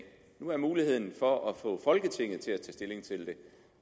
nu har vi muligheden for at få folketinget til at tage stilling til det